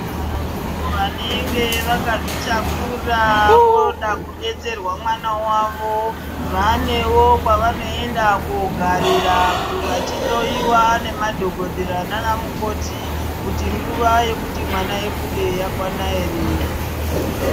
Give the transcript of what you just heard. Avo vanenge vakazvitakura voda kudetserwa mwana wavo vanewo kwavanoenda kogarira vachihloyiwa nemadhokodheya nanamukoti kuti nguva yekuti mwana abude yakwana here.